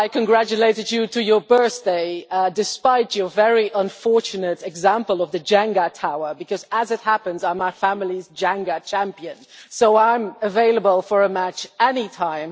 of all, I congratulated you to your birthday, despite your very unfortunate example of the Jenga tower because, as it happens, I am my family's Jenga champion, so I am available for a match at any time.